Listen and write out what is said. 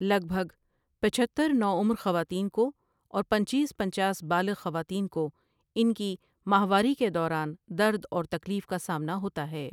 لگ بهگ پچہتر نوعمر خواتين کو اور پنچیس پنچاس بالغ خواتين کو ان کی ماہواری کے دوران درد اور تکلیف کا سامنا ہوتا ہے ۔